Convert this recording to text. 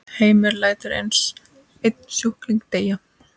Heimir: Lætur einn sjúkling deyja?